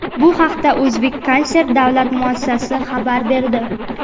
Bu haqda "O‘zbekkonsert" davlat muassasasi xabar berdi.